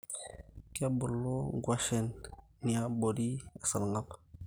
Kebulu inkuashen niabori esarngab